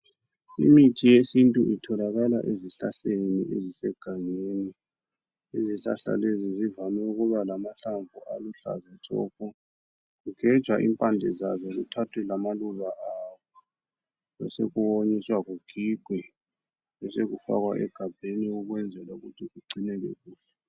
Imithi yesintu itholakala ezihlahleni ezisegangeni izihlahla lezi zivame ukuba lamahlamvu aluhlaza tshoko kugejwa impande zazo kuthathwe lamaluba azo besokuwonyiswa kugigwe besokufakwa egabheni ukwenzela ukuthi kugcineke kuhle.